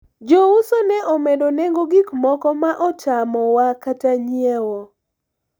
jouso ne omedo nengo gikmoko ma otamo wa kata nyiewo